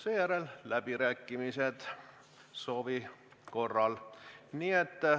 Seejärel on läbirääkimised, soovi korral.